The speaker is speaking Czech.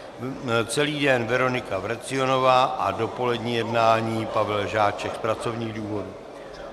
Celý den Veronika Vrecionová a dopolední jednání Pavel Žáček z pracovních důvodů.